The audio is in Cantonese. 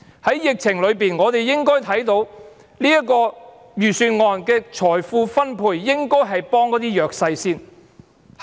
在疫情下，我們應該看到，這份預算案的財富分配應該是先幫助弱勢的人士。